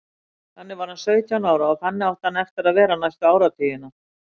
Þannig var hann sautján ára og þannig átti hann eftir að vera næstu áratugina.